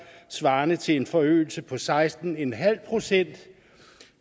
svarende til en forøgelse på seksten en halv procent og